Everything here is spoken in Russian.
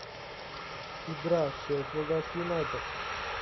игра шеффилда с юнайтед